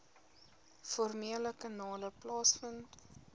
formele kanale plaasvind